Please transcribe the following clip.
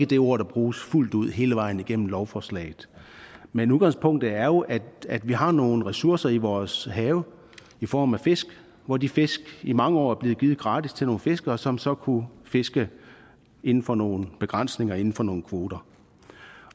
det ord der bruges fuldt ud hele vejen igennem lovforslaget men udgangspunktet er jo at vi har nogle ressourcer i vores have i form af fisk hvor de fisk i mange år er blevet givet gratis til nogle fiskere som så kunne fiske inden for nogle begrænsninger inden for nogle kvoter